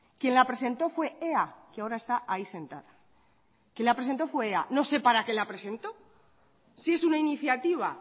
quien la presentó fue ea que ahora está ahí sentada quien la presentó fue ea no sé para qué la presentó si es una iniciativa